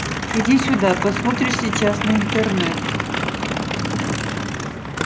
иди сюда посмотришь сейчас на интернет